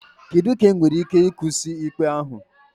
Kedu ka enwere ike isi kwụsị ikpe ahụ?